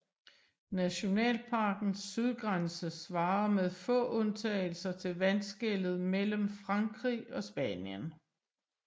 Nationalparkens sydgrænse svarer med få undtagelser til vandskellet mellem Frankrig og Spanien